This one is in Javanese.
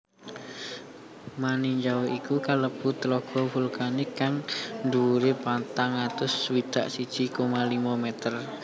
Maninjau iku kalebu Tlaga vulkanik kang dhuwure patang atus swidak siji koma limo meter